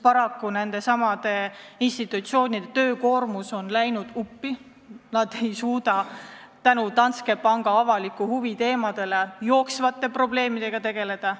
Paraku on asjaomaste institutsioonide töökoormus nad uppi ajanud, nad ei suuda lisaks Danske panga avaliku huvi teemadele jooksvate probleemidega tegeleda.